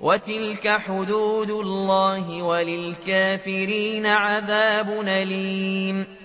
وَتِلْكَ حُدُودُ اللَّهِ ۗ وَلِلْكَافِرِينَ عَذَابٌ أَلِيمٌ